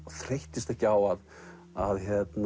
þreyttist ekki á að að